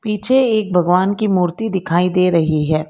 पीछे एक भगवान की मूर्ति दिखाई दे रही है।